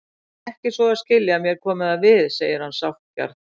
Ekki svo að skilja að mér komi það við, segir hann sáttgjarn.